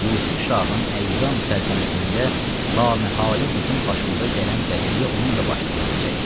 Yusif şahın əyyam-i səltənətində laməhələ bizim başımıza gələn qəziyyə onun da başına gələcək.